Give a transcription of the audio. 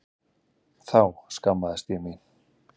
Þá skammaðist ég mín.